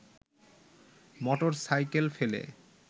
motorcycle ফেলে